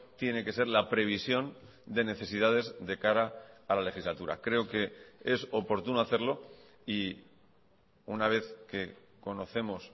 tiene que ser la previsión de necesidades de cara a la legislatura creo que es oportuno hacerlo y una vez que conocemos